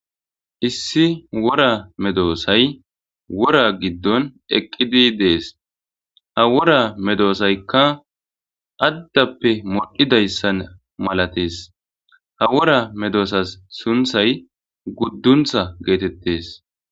Issi wora medossay wora giddon eqidi dees. Ha wora medossaykka addape modhidayssa malathees. Ha wora medosass sunthay guddunththa gethethees.